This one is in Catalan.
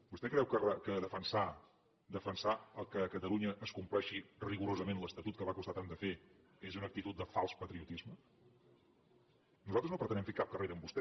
vostè creu que defensar que a catalunya es compleixi rigorosament l’estatut que va costar tant de fer és una actitud de fals patriotisme nosaltres no pretenem fer cap carrera amb vostè